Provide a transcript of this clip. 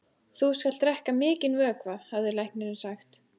Þú skalt drekka mikinn vökva, hafði læknirinn sagt.